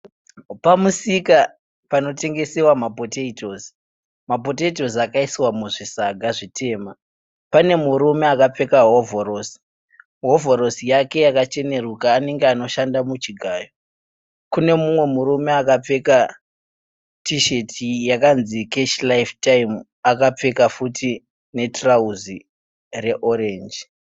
Pamusika panotengesewa mapotaitosi, mapotaitosi akaiswa muzvisaga zvitema pane murume akapfeka hovhorosi. Hovhorosi yake yakacheneruka anenge anoshanda muchigayo, kune umwe murume akapfeka tisheti yakanzi(Cash Life Time) akapfeka futi netirauzi re(orange).